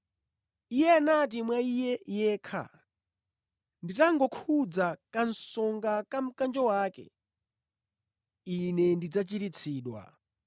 Iyeyo anati mwa iye yekha, “Nditangokhudza kasonga ka mkanjo wake, ine ndidzachiritsidwa.”